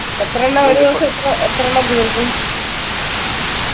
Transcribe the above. എത്രണ്ണ ഒരു ദിവസം ഇപ്പോ എത്രണ്ണം തീർക്കും